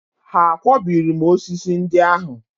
Ha akwọbiri m osisi ndị ahụ?